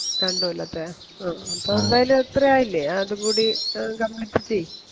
രണ്ട് കൊല്ലത്തെ ആ അപ്പൊ എന്തായാലൂം അത്രേം ആയില്ലേ ആ അതും കൂടി എ Complete ചെയ്